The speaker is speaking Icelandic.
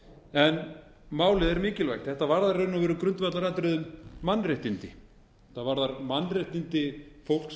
en málið er mikilvægt þetta varðar í raun og veru grundvallaratriði um mannréttindi það varðar mannréttindi fólks